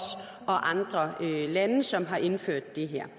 og andre lande som har indført det her